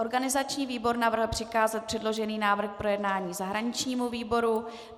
Organizační výbor navrhl přikázat přeložený návrh k projednání zahraničnímu výboru.